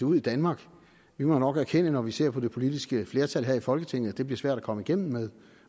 ud i danmark vi må nok erkende når vi ser på det politiske flertal her i folketinget at det bliver svært at komme igennem med